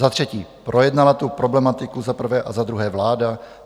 Za třetí, projednala tu problematiku za prvé a za druhé vláda?